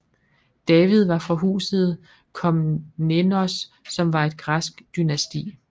David var fra Huset Komnenos som var et græsk dynasti